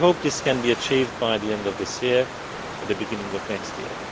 We hope this can be achieved by the end of this year or the beginning of next year.